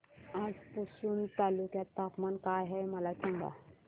आज पुसद तालुक्यात तापमान काय आहे मला सांगा